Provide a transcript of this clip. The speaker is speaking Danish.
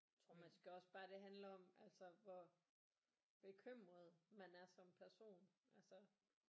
Tror man skal også bare det handler om altså hvor bekymret man er som person altså